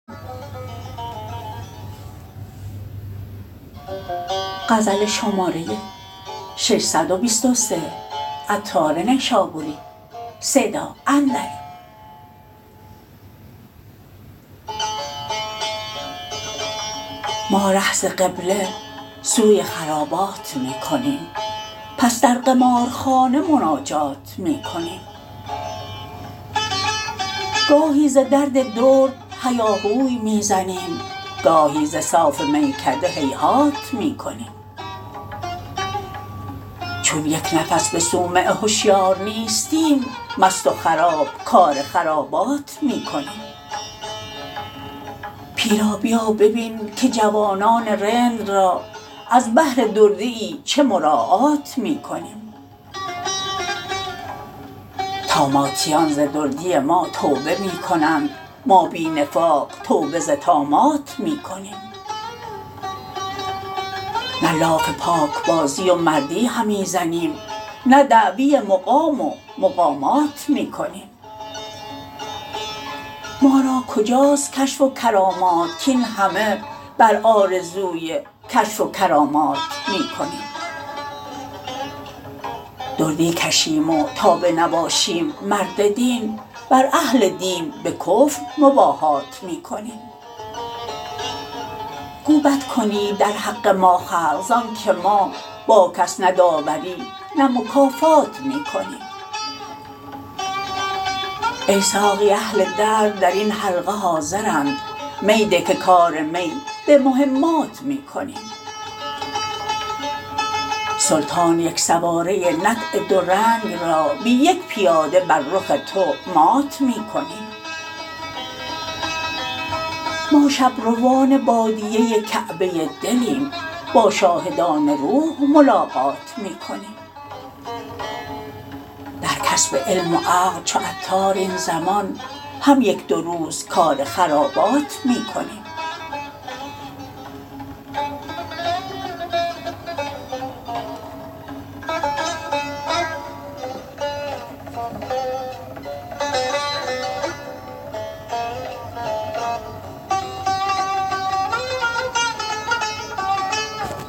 ما ره ز قبله سوی خرابات می کنیم پس در قمارخانه مناجات می کنیم گاهی ز درد درد هیاهوی می زنیم گاهی ز صاف میکده هیهات می کنیم چون یک نفس به صومعه هشیار نیستیم مست و خراب کار خرابات می کنیم پیرا بیا ببین که جوانان رند را از بهر دردیی چه مراعات می کنیم طاماتیان ز دردی ما توبه می کنند ما بی نفاق توبه ز طامات می کنیم نه لاف پاک بازی و مردی همی زنیم نه دعوی مقام و مقامات می کنیم ما را کجاست کشف و کرامات کین همه بر آرزوی کشف و کرامات می کنیم دردی کشیم و تا به نباشیم مرد دین بر اهل دین به کفر مباهات می کنیم گو بد کنید در حق ما خلق زانکه ما با کس نه داوری نه مکافات می کنیم ای ساقی اهل درد درین حلقه حاضرند می ده که کار می به مهمات می کنیم سلطان یک سواره نطع دو رنگ را بی یک پیاده بر رخ تو مات می کنیم ما شب روان بادیه کعبه دلیم با شاهدان روح ملاقات می کنیم در کسب علم و عقل چو عطار این زمان هم یک دو روز کار خرابات می کنیم